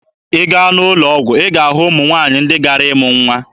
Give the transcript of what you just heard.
Ị gaa n'ụlọ ọgwụ, ị ga-ahụ ụmụ nwaanyị ndị gara ịmụ nwa.